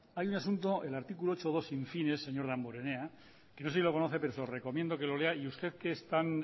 hay un asunto el articulo ochenta y dos in fine señor damborenea no sé si lo conoce pero se lo recomiendo que lo lea y usted que es tan